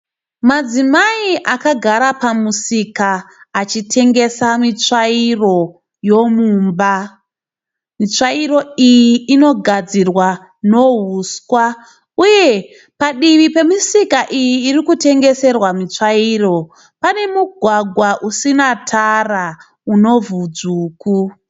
Madzimai akagara pamusika achitengesa mitsvairo yomumba. Mitsvairo Iyi inogadzirwa ne huswa. Uye padivi pemisika iyi irikutengeserwa mitsvairo pane mugwagwa usina tara, unevhu dzvuku.